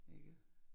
Ikke